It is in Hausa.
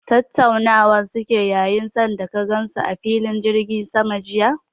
Tattaunawa suke yi san da ka gan su a filin jirgin sama jiya?